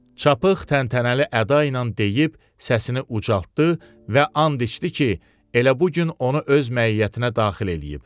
Çapıq təntənəli əda ilə deyib səsini ucaltdı və and içdi ki, elə bu gün onu öz məiyyətinə daxil eləyib.